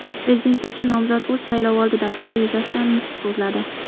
Prezidentlikka nomzod o‘z saylovoldi dasturi yuzasidan nutq so‘zladi.